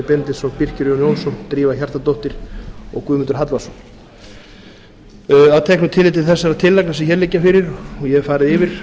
benediktsson birkir jón jónsson drífa hjartardóttir og guðmundur hallvarðsson að teknu tilliti til þessar tillagna sem hér liggja fyrir og ég hef farið yfir